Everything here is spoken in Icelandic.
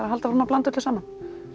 að halda áfram að blanda öllu saman